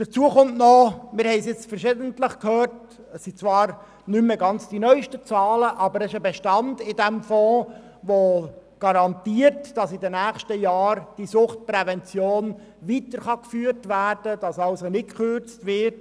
Hinzu kommt – wir haben es verschiedentlich gehört –, dass uns zwar nicht ganz die neusten Zahlen vorliegen, aber dieser Fonds hat einen Bestand, der garantiert, dass in den nächsten Jahren die Suchtprävention weitergeführt werden kann und nicht gekürzt wird.